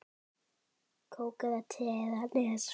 Kók eða te eða Nes?